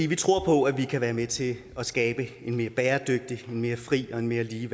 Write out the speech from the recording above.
vi tror på at vi kan være med til at skabe en mere bæredygtig mere fri og mere lige